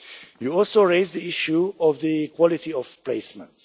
You also raised the issue of the quality of placements.